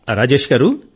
రాజేశ్ గారూ